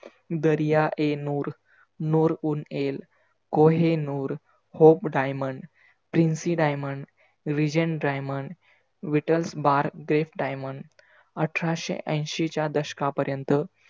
दर्या e Noor, Noor ul Ain, Kohinoor, hope diamond, PRINCY diamond, vision diamond, vital bare diamond अठराशे ऐशीच्या दशका पर्यंत